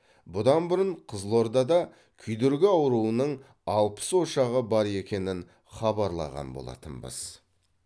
бұдан бұрын қызылордада күйдіргі ауруының алпыс ошағы бар екенін хабарлаған болатынбыз